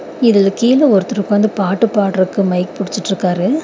இதுல கீழ ஒருத்தர் உக்காந்து பாட்டு பாட்றக்கு மைக் புடிச்சிட்ருக்காரு.